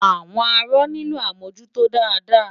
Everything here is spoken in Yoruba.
Àwọn arọ nílò àmújútó dáadáa.